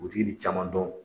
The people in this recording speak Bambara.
Dugutigi bi caman dɔn